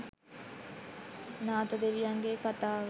නාතදෙවියන්ගේ කතාව